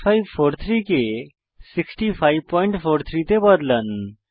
6543 কে 6543 তে বদলান